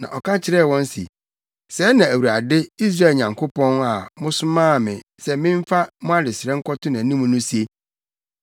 Na ɔka kyerɛɛ wɔn se, “Sɛɛ na Awurade, Israel Nyankopɔn a mosomaa me sɛ memfa mo adesrɛ nkɔto nʼanim no se: